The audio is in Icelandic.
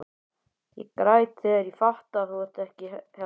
Ég græt þegar ég fatta að þú ert ekki hérna.